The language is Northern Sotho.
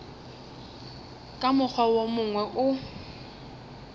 ka mokgwa wo mongwe o